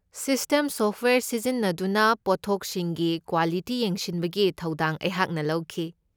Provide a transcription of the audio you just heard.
System software ꯁꯤꯖꯤꯟꯅꯗꯨꯅ ꯄꯣꯠꯊꯣꯛꯁꯤꯡꯒꯤ quality ꯌꯦꯡꯁꯤꯟꯕꯒꯤ ꯊꯧꯗꯥꯡ ꯑꯩꯍꯥꯛꯅ ꯂꯧꯈꯤ꯫